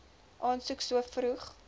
aansoek so vroeg